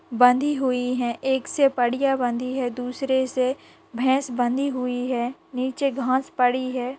बंधी हुई है एक से बढ़िया बंधी है दूसरे से भैंस बंधी हुई है नीचे घास पड़ी है।